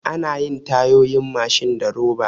Anayin Tayoyin Mashin da roba